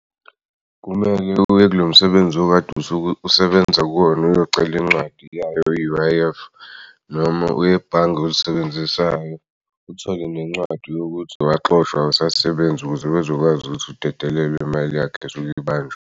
Kumele uye kulo msebenzi okade usuke usebenza kuwona uyocela incwadi yayo ye-U_I_F noma uyebhange olisebenzisayo uthole nencwadi yokuthi waxoshwa awusasebenzi ukuze bezokwazi ukuthi udedelelwe imali yakhe esuk'ibanjwe.